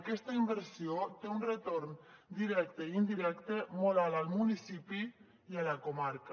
aquesta inversió té un retorn directe i indirecte molt alt al municipi i a la comarca